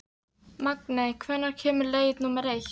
Magney, hvenær kemur leið númer eitt?